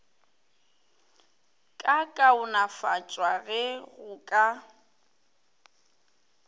ka kaonafatšwa ge go ka